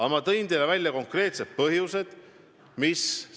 Aga ma tõin teile konkreetsed põhjused, miks meie seis on muutunud.